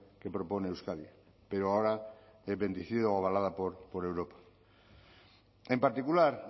que propone euskadi pero ahora bendecida o avalada por europa en particular